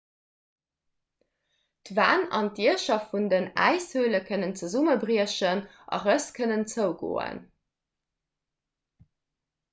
d'wänn an d'diecher vun äishöle kënnen zesummebriechen a rëss kënnen zougoen